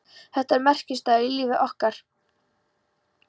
Þetta var merkisdagur í lífi okkar.